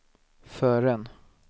förrän